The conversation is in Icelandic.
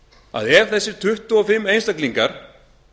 að ef þessir tuttugu og fimm einstaklingar